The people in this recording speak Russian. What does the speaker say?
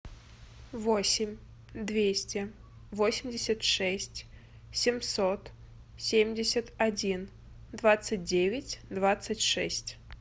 восемь двести восемьдесят шесть семьсот семьдесят один двадцать девять двадцать шесть